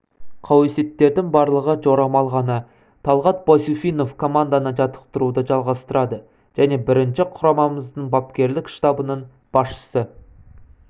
қауесеттердің барлығы жорамал ғана талғат байсуфинов команданы жаттықтыруды жалғастырады және бірінші құрамамыздың бапкерлік штабының басшысы